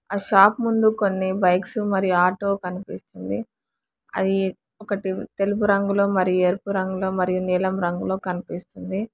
ఆ షాప్ ముందు కొన్ని బైక్స్ మరియు ఆటో కనిపిస్తుంది అది ఒకటి తెలుపు రంగులో మరి ఎరుపు రంగులో మరియు నీలం రంగులో కనిపిస్తుంది.